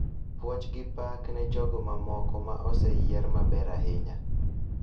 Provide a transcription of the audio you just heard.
Puoch gi pak ne jogo mamoko ma oseyier maber ahinya.